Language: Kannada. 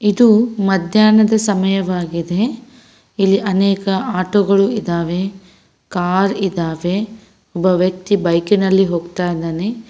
ಇದು ಮದ್ಯಾಹ್ನದ ಸಮಯವಾಗಿದೆ ಇಲ್ಲಿ ಅನೇಕ ಆಟೋ ಗಳಿದಾವೆ ಕಾರ್ ಇದಾವೆ ಒಬ್ಬ ವ್ಯಕ್ತಿ ಬೈಕ್ನ ಲ್ಲಿ ಹೋಗ್ತಾಯಿದ್ದಾನೆ.